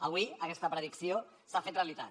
avui aquesta predicció s’ha fet realitat